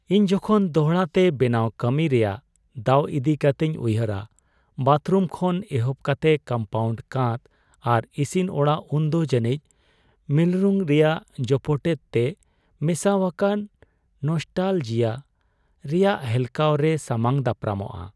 ᱤᱧ ᱡᱚᱠᱷᱚᱱ ᱫᱚᱲᱦᱟ ᱛᱮ ᱵᱮᱱᱟᱣ ᱠᱟᱹᱢᱤ ᱨᱮᱭᱟᱜ ᱫᱟᱣ ᱤᱫᱤ ᱠᱟᱛᱤᱧ ᱩᱭᱦᱟᱹᱨᱟ ᱵᱟᱛᱷᱨᱩᱢ ᱠᱷᱚᱱ ᱮᱦᱚᱵ ᱠᱟᱛᱮ ᱠᱚᱢᱯᱟᱣᱩᱱᱰ ᱠᱟᱸᱛ ᱟᱨ ᱤᱥᱤᱱ ᱚᱲᱟᱜ ᱩᱱᱫᱚ ᱡᱟᱹᱱᱤᱡᱽ ᱢᱤᱨᱞᱩᱝ ᱨᱮᱭᱟᱜ ᱡᱚᱯᱚᱴᱮᱛ ᱛᱮ ᱢᱮᱥᱟᱣᱟᱠᱟᱱ ᱱᱚᱥᱴᱟᱞᱡᱤᱭᱟ ᱨᱮᱭᱟᱜ ᱦᱮᱞᱠᱟᱣᱨᱮ ᱥᱟᱢᱟᱝ ᱫᱟᱯᱨᱟᱢᱚᱜ ᱾